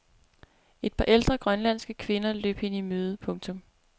Et par ældre grønlandske kvinder løb hende i møde. punktum